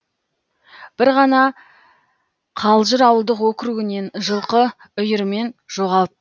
бір ғана қалжыр ауылдық округінен жылқы үйірімен жоғалып